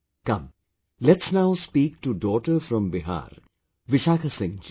Come, let's now speak to daughter from Bihar, Vishakha Singh ji